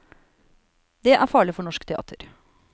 Det er farlig for norsk teater.